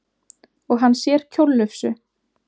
Og hann sér kjóllufsu.